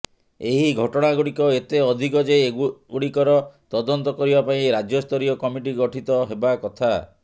ଏହି ଘଟଣାଗୁଡ଼ିକ ଏତେ ଅଧିକ ଯେ ଏଗୁଡ଼ିକର ତଦନ୍ତ କରିବା ପାଇଁ ରାଜ୍ୟସ୍ତରୀୟ କମିଟି ଗଠିତ ହେବା କଥା